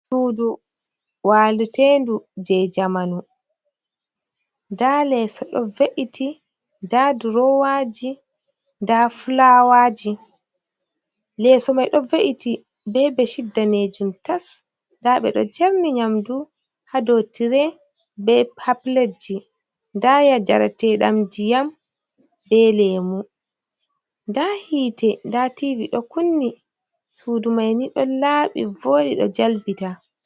sudu walutendu je jamanu da leeso do ve’iti da durowaji da flawaji leeso mai do ve’iti be be shiddanejum tas da be do jarni nyamdu hadotire be paplatji da yajaratedam jiyam be lemu da hiite da tivi do kunni sudu maini don laabi vori do jalbita.